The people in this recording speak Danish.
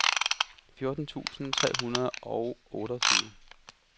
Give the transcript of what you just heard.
fjorten tusind tre hundrede og otteogtyve